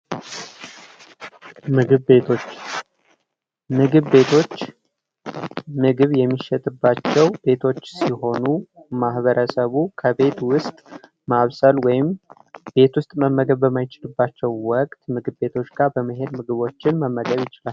ምግብ ቤቶች ፤ ምግብ ቤቶች ምግብ የሚሸጥባቸው ቤቶች ሲሆኑ ማህበረሰቡ ከቤት ውስጥ ማብሰል ወይም ቤት ውስጥ መመገብ በማይችልባቸው ወቅት ምግብ ቤቶች ጋር በመሄድ ምግብ መመገብ ይችላል።